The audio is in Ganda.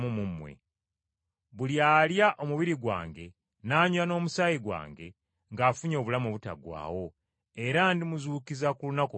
Buli alya omubiri gwange n’anywa n’omusaayi gwange, ng’afunye obulamu obutaggwaawo era ndimuzuukiza ku lunaku olw’enkomerero.